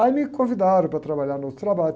Aí me convidaram para trabalhar no outro trabalho.